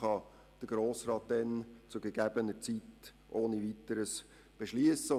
Der Grosse Rat kann dies zu gegebener Zeit ohne Weiteres beschliessen.